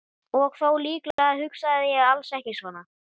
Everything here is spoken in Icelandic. Og þó, líklega hugsaði ég alls ekki svona.